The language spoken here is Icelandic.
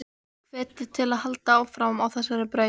Ég hvet þig til að halda áfram á þessari braut.